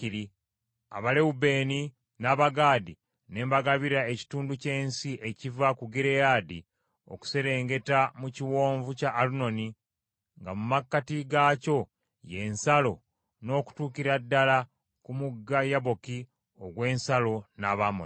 Abalewubeeni n’Abagaadi ne mbagabira ekitundu ky’ensi ekiva ku Gireyaadi okuserengeta mu Kiwonvu kya Alunoni, nga mu makkati gaakyo ye nsalo, n’okutuukira ddala ku mugga Yaboki ogw’ensalo n’Abamoni.